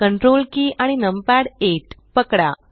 Ctrl की आणि numpad 8 पकडा